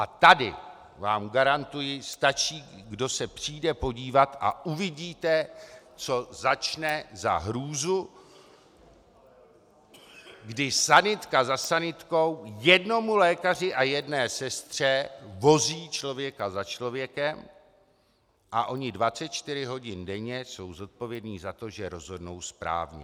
A tady vám garantuji, stačí, kdo se přijde podívat, a uvidíte, co začne za hrůzu, když sanitka za sanitkou jednomu lékaři a jedné sestře vozí člověka za člověkem a oni 24 hodin denně jsou zodpovědni za to, že rozhodnou správně.